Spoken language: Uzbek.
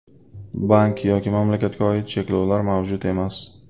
Bank yoki mamlakatga oid cheklovlar mavjud emas.